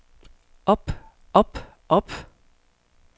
op op op